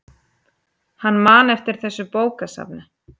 Hann man eftir þessu bókasafni.